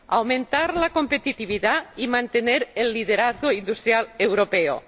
aumentar la competitividad y mantener el liderazgo industrial europeo.